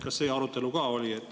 Kas see arutelu ka oli?